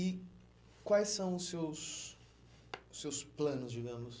E quais são os seus seus planos, digamos?